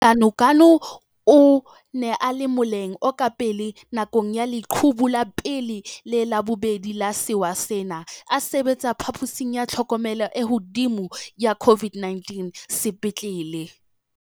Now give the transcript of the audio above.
Ganuganu o ne a le moleng o ka pele nakong ya leqhubu la pele le la bobedi la sewa sena, a sebetsa phaposing ya tlhokomelo e hodimo ya COVID-19 sepetlele.